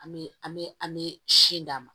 An bɛ an bɛ an bɛ sin d'a ma